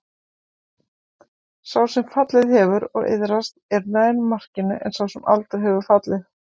Sá sem fallið hefur og iðrast er nær markinu en sá sem aldrei hefur fallið.